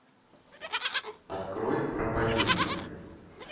открой проповедник